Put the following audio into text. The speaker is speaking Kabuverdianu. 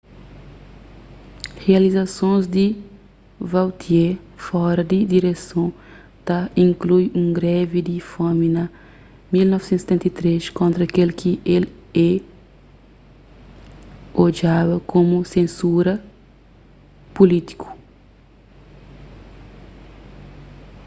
rializasons di vautier fora di direson ta inklui un grevi di fomi na 1973 kontra kel ki el é odjaba komu sensura pulítiku